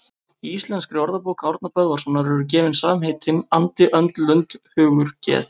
Í Íslenskri orðabók Árna Böðvarssonar eru gefin samheitin andi, önd, lund, hugur, geð